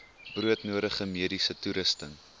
broodnodige mediese toerusting